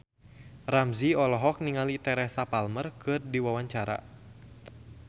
Ramzy olohok ningali Teresa Palmer keur diwawancara